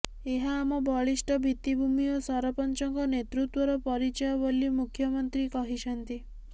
ଏହା ଆମ ବଳିଷ୍ଠ ଭିତ୍ତିଭୂମି ଓ ସରପଞ୍ଚଙ୍କ ନେତୃତ୍ୱର ପରିଚୟ ବୋଲି ମୁଖ୍ୟମନ୍ତ୍ରୀ କହିଛନ୍ତି